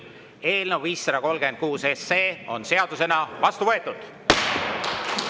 Eelnõu 536 on seadusena vastu võetud.